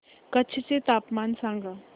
कच्छ चे तापमान सांगा